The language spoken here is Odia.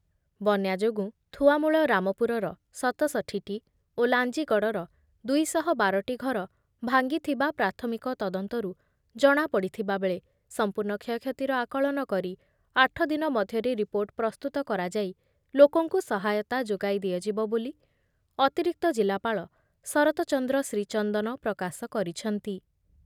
ବନ୍ୟା ଯୋଗୁଁ ଥୁଆମୂଳ ରାମପୁରର ସତଷଠିଟି ଓ ଲାଞ୍ଜିଗଡ଼ର ଦୁଇ ଶହ ବାରଟି ଘର ଭାଙ୍ଗିଥିବା ପ୍ରାଥମିକ ତଦନ୍ତରୁ ଜଣାପଡ଼ିଥିବା ବେଳେ ସଂପୂର୍ଣ୍ଣ କ୍ଷୟକ୍ଷତିର ଆକଳନ କରି ଆଠ ଦିନ ମଧ୍ୟରେ ରିପୋର୍ଟ ପ୍ରସ୍ତୁତ କରାଯାଇ ଲୋକଙ୍କୁ ସହାୟତା ଯୋଗାଇ ଦିଆଯିବ ବୋଲି ଅତିରିକ୍ତ ଜିଲ୍ଲାପାଳ ଶରତ ଚନ୍ଦ୍ର ଶ୍ରୀଚନ୍ଦନ ପ୍ରକାଶ କରିଛନ୍ତି ।